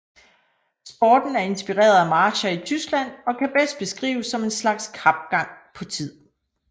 Sporten er inspireret af marcher i Tyskland og kan bedst beskrives som en slags kapgang på tid